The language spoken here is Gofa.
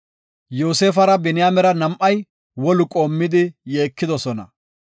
Yoosefara Biniyaamera nam7ay wolu qoomidi yeekidosona